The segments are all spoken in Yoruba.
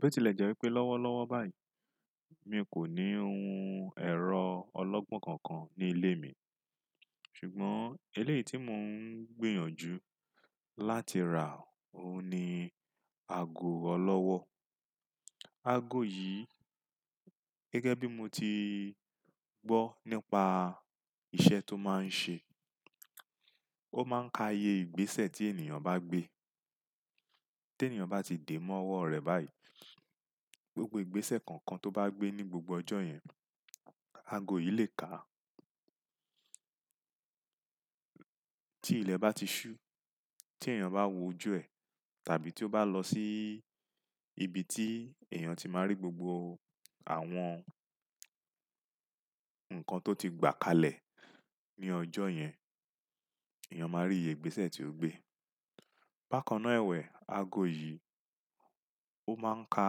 Bí ó tilẹ̀ jẹ́ wípé lọ́wọ́ lọ́wọ́ báyìí mi kò ní ohun ẹ̀rọ ọlọ́gbọ́n kankan ní ilé mi, ṣùgbọ́n eléyìí tí mò ń gbìyànjú láti rà ó ní aago ọlọ́wọ́. Aago yìí gẹ́gẹ́ bí mo ti gbọ́ nípa ìṣe tó máa ń ṣe, ó máa ń ka iye ìgbésẹ̀ tí ènìyàn bá gbé. Tí ènìyàn bá ti dé mọ́ ọwọ́ rẹ̀ báyìí, gbogbo ìgbésẹ̀ kankan tó bá gbé ní gbogbo ọjọ́ yẹn, aago yìí lè kà á. Tí ilẹ̀ bá ti ṣú, tí èèyàn bá wò ojú ẹ̀, tàbí tí ó bá lọ sí ibi tí èèyàn ti máa rí gbogbo àwọn ǹkan tó ti gbà kalẹ̀ ní ọjọ́ yẹn, èèyàn máa rí iye ìgbésẹ̀ tí ó gbé. Bakan náà ẹ̀wẹ̀, aago yìí ó máa ń ka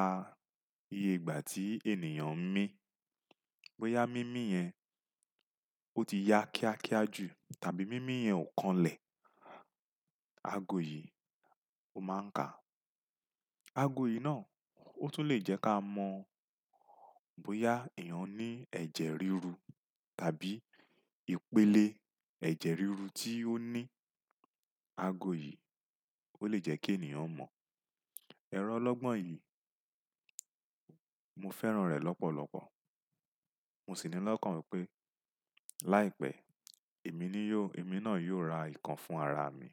iye ìgbà tí ènìyàn ń mí. Bóyá mími yẹn ó ti ya kíákíá jù tàbí mími yẹn ò kanlẹ̀, aago yìí ó máa ń ka. Aago yìí náà ó tún lè jẹ́ ká mọ̀ bóyá èèyàn ní ẹ̀jẹ̀ ríru tàbí ìpele ẹ̀jẹ̀ ríru tí ó ní. Aago yìí ó lè jẹ́ kí ènìyàn mọ̀. Ẹ̀rọ ọlọ́gbọ́n yìí, mo fẹ́ràn rẹ̀ lọ́pọ̀lọpọ̀. Mo sì ní lọ́kàn pé láìpẹ́ èmi náà yóò ra ìkan fún ara mi.